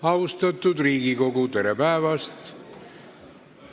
Austatud Riigikogu, tere päevast!